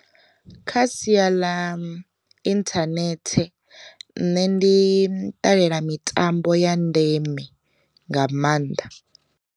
Kha sia ḽa inthanethe nṋe ndi ṱalela mitambo ya ndeme nga maanḓa.